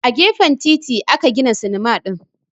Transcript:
A gefen titi aka gina sinima din